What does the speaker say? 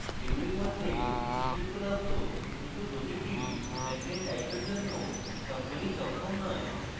এগুলির মধ্যে এটি উপলব্ধ কিন্তু প্রতিটি content type এর জন্য সবগুলি সক্ষম নয়